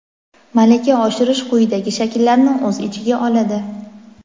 Malaka oshirish quyidagi shakllarni o‘z ichiga oladi:.